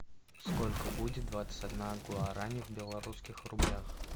сколько будет двадцать одна гуарани в белорусских рублях